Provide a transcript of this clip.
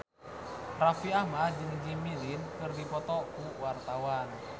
Raffi Ahmad jeung Jimmy Lin keur dipoto ku wartawan